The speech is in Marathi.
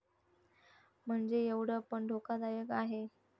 म्हणजे येवढं पण धोकादायक आहे.